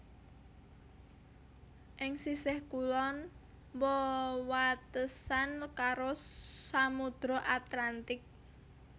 Ing sisih kulon wewatesan karo Samudra Atlantik